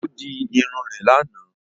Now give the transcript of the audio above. Ó di Irun rè lànà